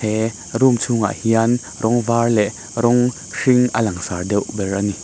he room chhungah hian rawng var leh rawng hring a lang sar deuh ber a ni.